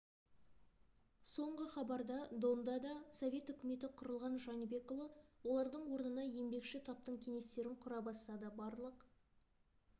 соңғы хабарда донда да совет үкіметі құрылған жәнібекұлы олардың орнына еңбекші таптың кеңестерін құра бастады барлық